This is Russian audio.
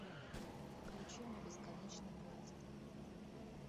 включи мне бесконечный поезд